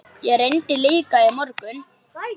Ég reyndi líka í morgun.